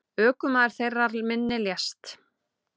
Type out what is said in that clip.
Ökumaður þeirrar minni lést.